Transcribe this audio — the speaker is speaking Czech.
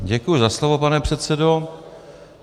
Děkuji za slovo, pane předsedo.